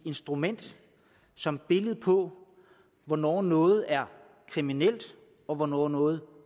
instrument som billede på hvornår noget er kriminelt og hvornår noget